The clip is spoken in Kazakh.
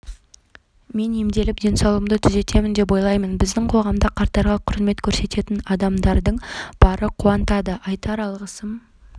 мен емделіп денсаулығымды түзетемін деп ойлаймын біздің қоғамда қарттарға құрмет көрсететін адамдардың бары қуантады айтар алғысым